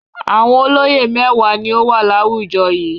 Àwọn olóyè mẹ́wàá ni ó wà láwùjọ yìí.